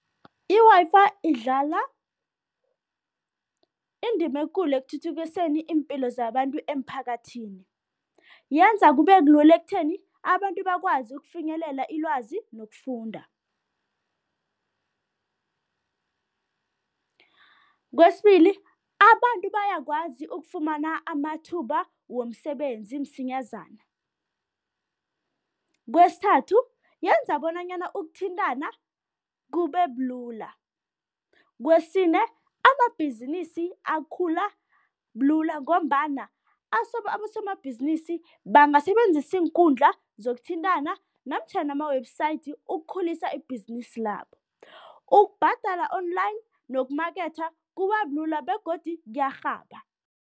I-Wi-Fi idlala indima ekulu ekuthuthukiseni iimpilo zabantu emphakathini. Yenza kube kulula ekutheni abantu bakwazi ukufinyelela ilwazi nokufunda. Kwesibili, abantu bayakwazi ukufumana amathuba womsebenzi msinyazana. Kwesithathu, yenza bonanyana ukuthintana kube bulula. Kwesine, amabhizinisi akhula bulula ngombana abosomabhizinisi bangasebenzisa iinkundla zokuthintana namtjhana ama-website ukukhulisa ibhizinisi labo. Ukubhadala online nokumaketha kuba bulula begodu kuyarhaba.